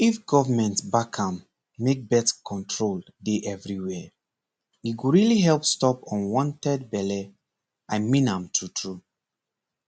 if government back am make birth control dey everywhere e go really help stop unwanted belle i mean am true true